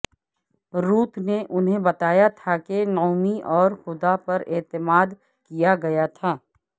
روت نے انہیں بتایا تھا کہ نعومی اور خدا پر اعتماد کیا گیا تھا